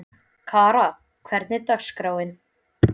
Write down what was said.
Kara, hvernig er dagskráin?